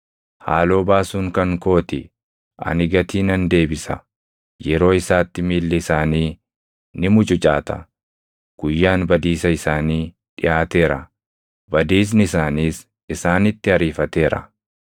Haaloo baasuun kan koo ti; ani gatii nan deebisa. Yeroo isaatti miilli isaanii ni mucucaata; guyyaan badiisa isaanii dhiʼaateera; badiisni isaaniis isaanitti ariifateera.”